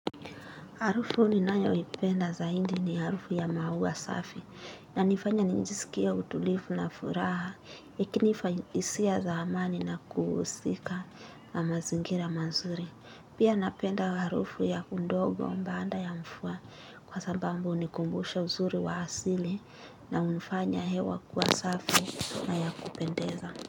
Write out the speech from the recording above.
Harufu ninayo ipenda za hindi ni harufu ya maua safi na inifanya nijisikie utulifu na furaha ikinifa hisia za amani na kuhusika na mazingira mazuri. Pia napenda harufu ya undogo baanda ya mfua kwa sabambu hunikumbusha uzuri wa asili na unifanya hewa kuwa safi na ya kupendeza.